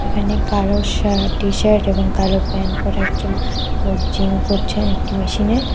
এখানে কালো shirt T-shirt এবং কালো প্যান্ট পরা একজন লোক জিম করছেন একটি মেশিনে।